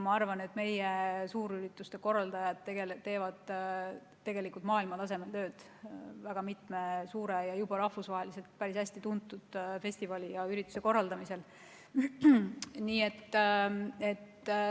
Ma arvan, et meie suurürituste korraldajad teevad maailmatasemel tööd mitme suure ja rahvusvaheliselt päris hästi tuntud festivali ja ürituse korraldamisel.